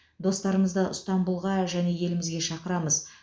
достармызды ыстанбұлға және елімізге шақырамыз